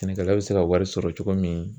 Sɛnɛkɛla bɛ se ka wari sɔrɔ cogo min